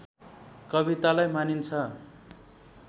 कवितालाई मानिन्छ